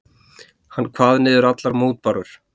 Hann kvað niður allar mótbárur.